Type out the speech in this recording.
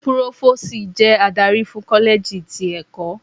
Púrófósìì jẹ́ adarí fún kọ́lẹ́jì tí ẹ̀kọ́.